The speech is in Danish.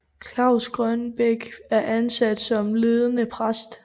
Claus Grønbæk er ansat som ledende præst